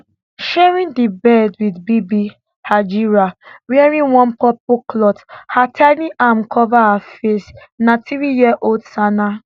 sharing di bed wit bibi hajira wearing one purple cloth her tiny arm cover her face na threeyearold sana